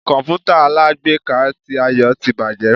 kọǹpútà alágbèéká tí Ayo tí bajé